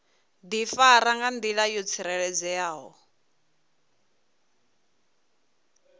difara nga ndila yo tsireledzeaho